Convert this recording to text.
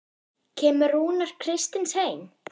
Kemur Rúnar Kristins heim?